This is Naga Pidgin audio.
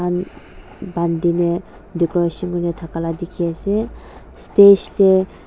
umm bandina decoration kurina takai laga teki ase stage teh.